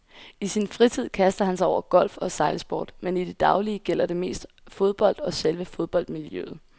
I sin fritid kaster han sig over golf og sejlsport, men i det daglige gælder det mest fodbold og selve fodboldmiljøet.